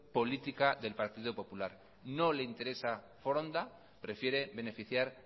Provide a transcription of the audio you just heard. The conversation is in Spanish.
política del partiendo popular no le interesa foronda prefiere beneficiar